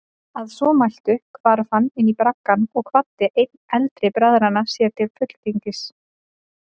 Að svo mæltu hvarf hann inní braggann og kvaddi einn eldri bræðranna sér til fulltingis.